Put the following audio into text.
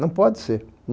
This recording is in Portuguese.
Não pode ser.